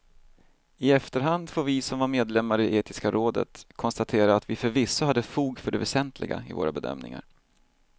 I efterhand får vi som var medlemmar i etiska rådet konstatera att vi förvisso hade fog för det väsentliga i våra bedömningar.